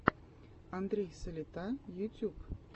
андрей салита ютюб